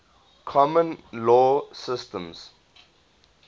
common law systems